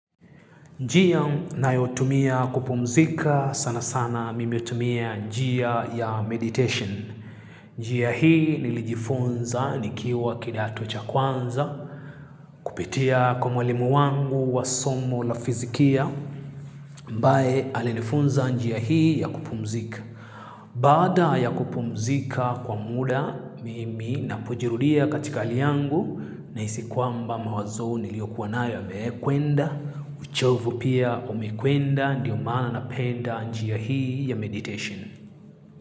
Njia nayotumia kupumzika sana sana mimi hutumia njia ya meditation. Njia hii nilijifunza nikiwa kidato cha kwanza kupitia kwa mwalimu wangu wa somo la fizikia ambaye alinifunza njia hii ya kupumzika. Baada ya kupumzika kwa muda mimi napojirudia katika hali yangu nahisi kwamba mawazo niliokuwa nayo yamekwenda, uchovu pia umekwenda ndio maana napenda njia hii ya meditation.